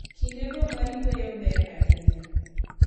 Kindego mag yueyo ber ahinya.